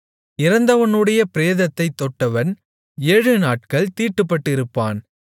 இறந்தவனுடைய பிரேதத்தைத் தொட்டவன் ஏழுநாட்கள் தீட்டுப்பட்டிருப்பான்